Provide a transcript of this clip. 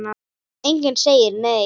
Enginn segir neitt.